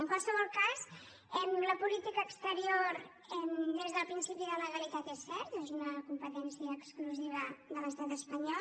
en qualsevol cas la política exterior des del principi de legalitat és cert que és una competència exclusiva de l’estat espanyol